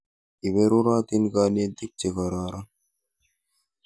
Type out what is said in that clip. Iperurotin kanetik che kororon.